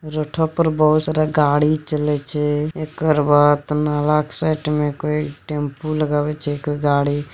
रोडो पर बहुत सारा गाड़ी चले छै एकर बाद नाला के साइड में कोई टेंपू लगावे छै कोई गाड़ी।